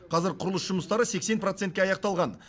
қазір құрылыс жұмыстары сексен процентке аяқталған